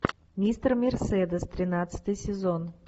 мистер мерседес тринадцатый сезон